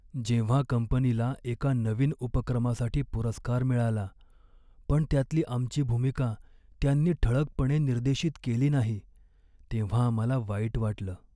जेव्हा कंपनीला एका नवीन उपक्रमासाठी पुरस्कार मिळाला, पण त्यातली आमची भूमिका त्यांनी ठळकपणे निर्देशित केली नाही, तेव्हा आम्हाला वाईट वाटलं.